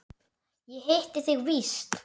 Ég hitti þig víst!